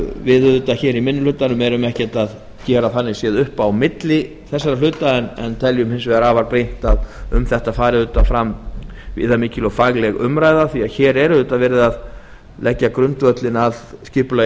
við í minni hlutanum erum þannig séð ekkert að gera upp á milli í þessum efnum en teljum afar brýnt að um þetta fari fram viðamikil og fagleg umræða því að hér er auðvitað verið að leggja grundvöllinn að skipulagi